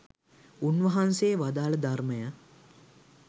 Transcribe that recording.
උන්වහන්සේ වදාළ ධර්මය